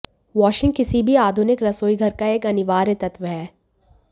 washing किसी भी आधुनिक रसोईघर का एक अनिवार्य तत्व है